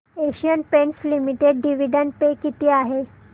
Asian Paints Limited dividend पे किती आहे